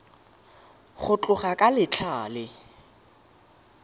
go tloga ka letlha le